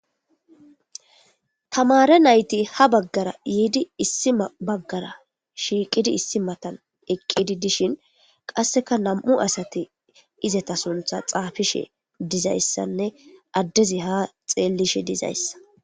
Tamare nayti ha baggara yiidi issi baggara shiiqidi issi matan eqqidi dishin qasseka nam7u asati izata suntha xaafishe dizayssanne addezi ha xeellishe dizayssa.